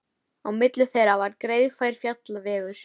Á milli þeirra var greiðfær fjallvegur.